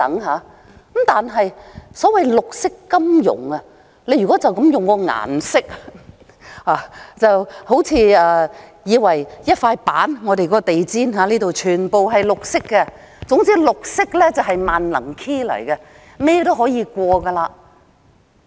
可是，所謂綠色金融，如果單從顏色來說，還以為是一塊板，或像我們的地毯般全是綠色，總之綠色便是"萬能 key"， 甚麼都可以。